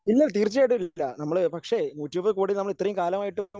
ഇല്ല തീർച്ചയായിട്ടും ഇല്ല നമ്മള് പക്ഷേ നൂറ്റിയിരുപത് കോടി നമ്മൾ ഇത്രയും കാലമായിട്ടും